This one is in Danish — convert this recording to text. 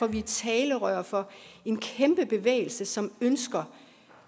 vi er talerør for en kæmpe bevægelse som ønsker